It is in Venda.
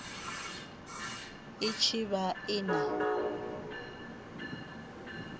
i tshi vha i na